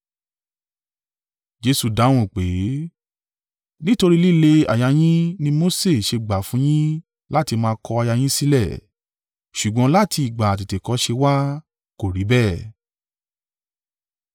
Jesu dáhùn pé, “Nítorí líle àyà yín ni Mose ṣe gbà fún yín láti máa kọ aya yín sílẹ̀. Ṣùgbọ́n láti ìgbà àtètèkọ́ṣe wá, kò rí bẹ́ẹ̀.